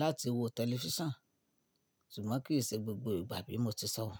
láti wo tẹlifíṣàn ṣùgbọ́n kì í ṣe gbogbo ìgbà bí mo ti sọ wọ̀.